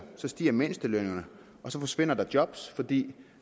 stiger mindstelønningerne og så forsvinder der job fordi